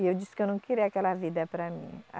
E eu disse que eu não queria aquela vida para mim.